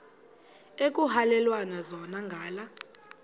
ekuhhalelwana zona ngala